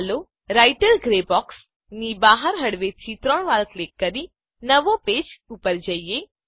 ચાલો writer grey box ની બહાર હળવેથી ત્રણ વાર ક્લિક કરી નવાં પેજ પર જઈએ